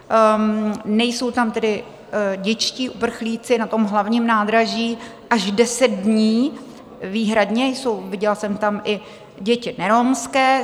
Nejsou tam tedy dětští uprchlíci na tom Hlavním nádraží až deset dní výhradně, viděla jsem tam i děti neromské.